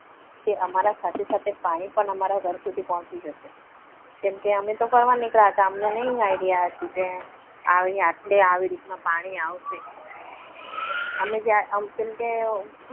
કે અમારા સાથે સાથે પાણી પણ અમારા ઘર સુધી પોહચી જશે. કેમ કે અમે તો ફરવા નીકળીયા હતા કે અમને idea ના હતો કે એટલે આ રીતે પાણી આવશે. આમ જાણે કેમ કે